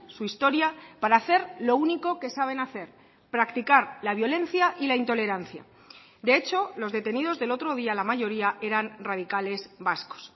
su historia para hacer lo único que saben hacer practicar la violencia y la intolerancia de hecho los detenidos del otro día la mayoría eran radicales vascos